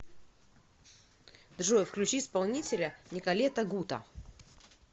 джой включи исполнителя николета гута